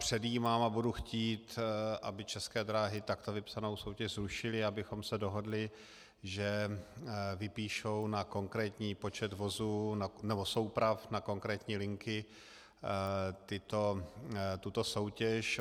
Předjímám a budu chtít, aby České dráhy takto vypsanou soutěž zrušily, abychom se dohodli, že vypíšou na konkrétní počet vozů nebo souprav na konkrétní linky tuto soutěž.